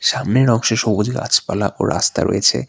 সামনের অংশে সবুজ গাছপালা ও রাস্তা রয়েছে।